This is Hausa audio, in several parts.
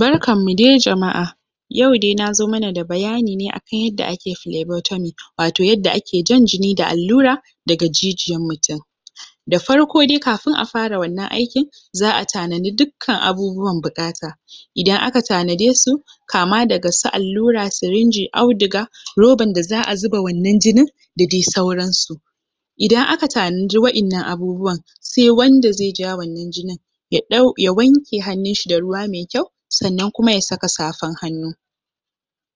Barkanmu de jama’a yau dai na zo mana da bayani ne akan yadda ake flavoitomic wato yadda ake jan jini da allura daga jijiyan mutum da farko dai kafin a fara wannan aikin za a tanani dukkan abubuwan buƙata idan aka tanade su kama daga su allura, sirinji, auduga roban da za a wannan jinin da dai sauransu idan aka tanadi wa’innan abubuwan sai wanda zai ja wannan jinin ya ɗau ya wanke hannunshi da ruwa me kyau sannan kuma ya saka safan hannu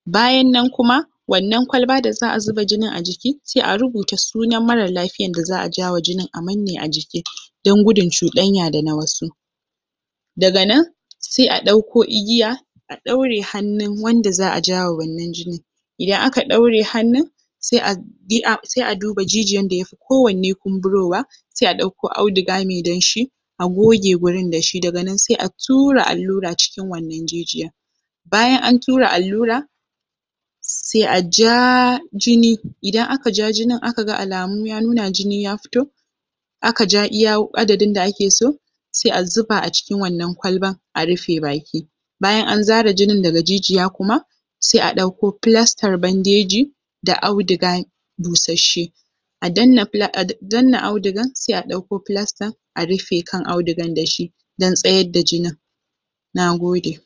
bayan nan kuma annan kwalba da za a zuba jinin a jiki sai a rubuta sunan mara lafiyan da za a jawa jinin a manne a jiki don gudun cuɗanya da na wasu daga nan sai a ɗauko igiya a ɗaure hannun wanda za a jawa wannan jini, idan aka ɗaure hannun se a duba se a duba jijiyan da yafi kowanne kumburowa sai ɗauko auduga me danshi a goge gurin da shi, daga sai a tura allura cikin wannan jijiyan Bayan an tura allura sai a jaaa jini, idan aka ja jinin aka ga alamun ya nuna jini ya fito aka ja iya adadin da ake so sai a zuba a cikin wannan kwalban a rufe baki bayan an zare jinin daga jijiya kuma sai a ɗauko flastar bandeji da audugu busasshe a danna flas, a danna audugur sai a ɗauko flastar a rufe kan audugan da shi don tsayad da jinin nagode